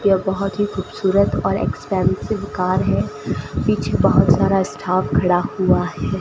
यह बहोत ही खूबसूरत और एक्सपेंसिव कार है पीछे बहोत सारा स्टाफ खड़ा हुआ है।